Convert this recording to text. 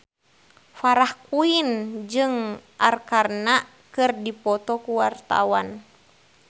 Farah Quinn jeung Arkarna keur dipoto ku wartawan